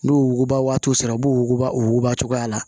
N'o wuguba waati sera u b'u wuguba wuguba cogoya la